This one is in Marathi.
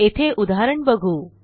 येथे उदाहरण बघू